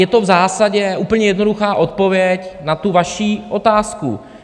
Je to v zásadě úplně jednoduchá odpověď na tu vaši otázku.